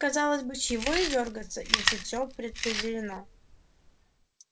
казалось бы чего ей дёргаться если все предопределено